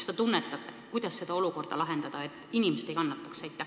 Ja teisalt, kuidas seda olukorda lahendada, et inimesed ei kannataks?